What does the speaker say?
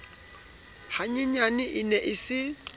hanyenyane e ne e se